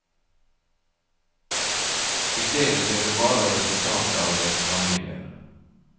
I stedet ser du bare resultatet av dets handlinger.